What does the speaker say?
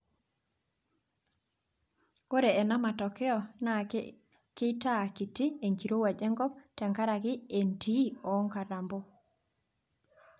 Ore ena matokeo naa keitaa kiti enkirowuaj enkop tenkaraki entii oo nkatampo.